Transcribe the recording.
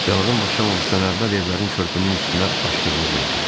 Yanğın başlamamışdan əvvəl evlərin körpünün üstünə açdığını gördüm.